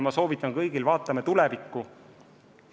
Ma soovitan kõigile: vaatame tulevikku!